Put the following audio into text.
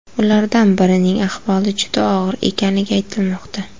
Ulardan birining ahvoli juda og‘ir ekanligi aytilmoqda.